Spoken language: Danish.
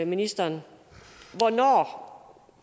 ministeren hvornår